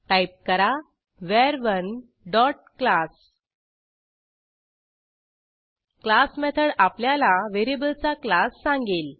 type करा वर1 dot class class method आपल्याला व्हेरिएबलचा क्लास सांगेल